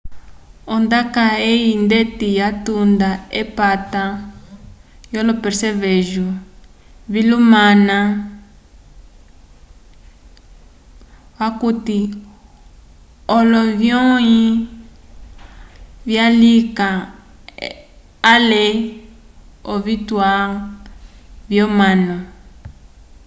ondaka eyi ndeti yatunda k'epata yolo percevejo lyohama okuti olonyĩhi vyalika ale l'ovituwa vyomanu